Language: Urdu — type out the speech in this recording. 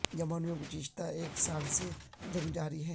یمن میں گذشتہ ایک سال سے جنگ جاری ہے